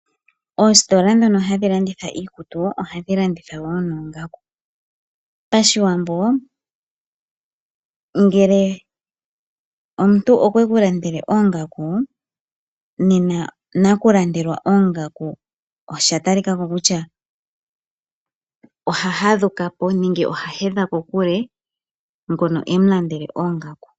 Oositola ndhono hadhi landitha iikutu ohadhi landitha woo noongaku. Pashiwambo ngele omuntu okweku landele oongaku, nena nakulandelwa oongaku osha talika ko kutya oha hadhuka po nenge a hedhe kokule ngono e mulandele oongaku.